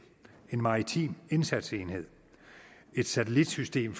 en maritim indsatsenhed et satellitsystem